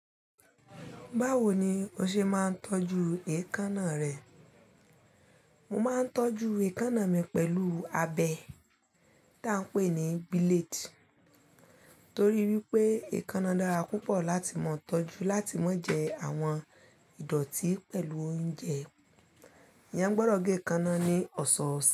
Báwo ni o ṣe máa ń tọ́jú èékánná rẹ? Mo máa ń tọ́jú èékánná mi pẹ̀lú abẹ́ tí à ń pè ní blade torí wípé èékánná dára púpọ̀ láti mọ́ tọ́jú, láti má jẹ àwọn ìdọ̀tí pẹ̀lú oúnjẹ. Eeyan gbọdọ̀ gé èékánná ní ọ̀sọ̀ọ̀sẹ̀